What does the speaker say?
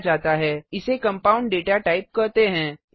इसे compound data typeकंपाउंड data type कहते हैं